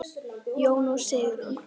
Jón og Sigrún.